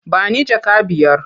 Ba ni jaka biyar?